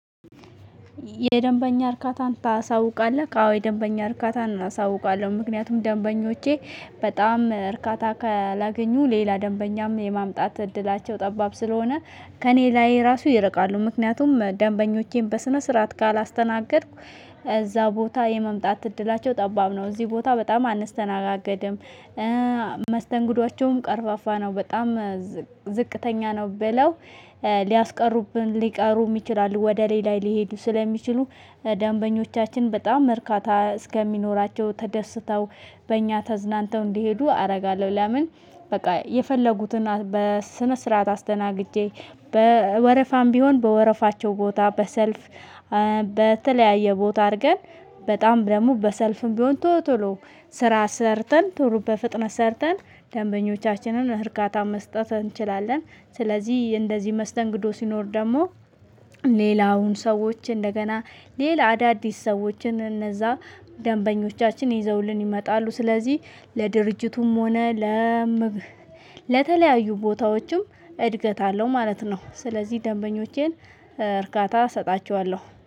የደንበኛ እርካታን ታሳውቃለህ? አዎ የደንበኛ እርካታን እሳውቃለሁ ምክንያቱም ደንበኞቼ በጣም እርካታ ካላገኙ ሌላ ደንበኛም የማምጣት እድላቸው ጠባብ ስለሆነ ከእኔ ላይ ራሱ ይርቃሉ ምክንያቱም ደንበኞቼን በስነ ስርዓት ካላስተናገድኩ እዛ ቦታ የመምጣት እድላቸው ጠባብ ነው እዚህ ቦታ በጣም አንስተናገድም መስተንጉዶቻቸውም ቀርፋፋ ነው በጣም ዝቅተኛ ነው ብለው ሊያስቀሩብን ሊቀሩም ይችላሉ ወደ ሌላ ሊሄዱ ስለሚችሉ ደንበኞቻችን በጣም እርካታ እስከሚኖራቸው ተደስተው በእኛ ተዝናንተው እንዲሄዱ አደርጋለሁ። ለምን? በቃ የፈለጉትን በስነ ስርዓት አስደናግጄ በወረፋም ቢሆን በወረፋቸው ቦታ በሰልፍ በተለያየ ቦታ አድርገን በጣም ደግሞ በሰልፍም ቢሆን ቶሎ ቶሎ ስራ ሰርተን ቶሎ በፍጥነት ሰርተን ደንበኞቻችንን እርካታ መስጠት እንችላለን። ስለዚህ እንደዚህ መስተንግዶ ሲኖር ደግሞ ሌላውን ሰዎች እንደገና ሌላ አዳዲስ ሰዎችን እነዛ ደንበኞቻችን ይዘውልን ይመጣሉ። ስለዚህ ለድርጅቱም ሆነ ለምብ ለተለያዩ ቦታዎችም እድገት አለው ማለት ነው። ስለዚህ ደንበኞቼን እርካታ እሰጣቸዋለሁ